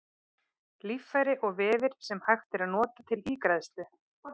Líffæri og vefir sem hægt er að nota til ígræðslu.